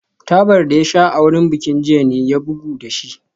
Tabar da ya sha a wurin bikin jiya ne ya bugu da shi